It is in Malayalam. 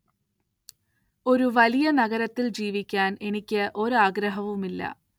ഒരു വലിയ നഗരത്തിൽ ജീവിക്കാൻ എനിക്ക് ഒരാഗ്രഹവുമില്ല